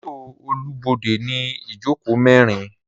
Mọto Olubode ni ijoko merin.